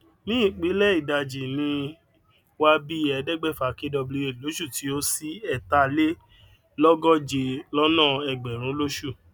ní ìpìlẹ ìdàjì ní wa bí ẹẹdẹgbẹfa kwh lóṣù tí ó sí ẹtà lé lógóje lọna ẹgbẹrún lóṣù